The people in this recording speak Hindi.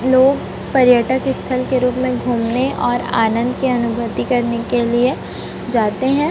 लोग पर्यटक स्थल के रूप में घूमने और आनंद की अनुभूति करने के लिए जाते हैं।